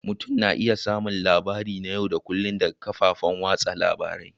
Mutum na iya samun labarai na yau da kullun daga kafofin watsa labarun